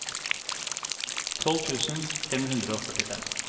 tolv tusen fem hundre og førtifem